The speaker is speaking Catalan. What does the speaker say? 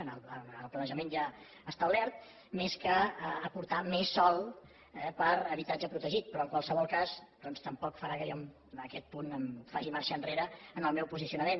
en el planejament ja establert més que aportar més sòl per a habitatge protegit però en qualsevol cas doncs tampoc farà que jo en aquest punt faci marxa enrere en el meu posicionament